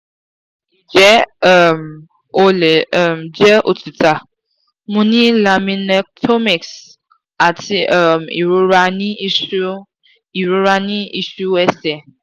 ije um o le um je otuta? mo ni laminectomies ati um irora ni isu irora ni isu ese